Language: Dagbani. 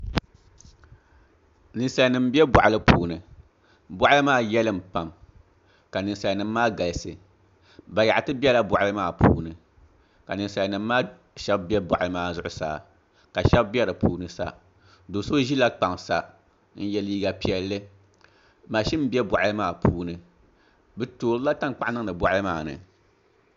Ninsal nim n bɛ boɣali puuni boɣali maa yɛlim pam ka ninsal nim maa galisi bayaɣati biɛla boɣali maa puuni ka ninsal nim maa shab bɛ boɣali maa zuɣusaa ka shab bɛ di puuni sa do so ʒila kpaŋ sa n yɛ liiga piɛlli mashin bɛ boɣali maa puuni bi toorila tankpaɣu niŋdi boɣali maa ni